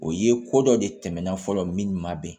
O ye ko dɔ de tɛmɛna fɔlɔ min ma bɛn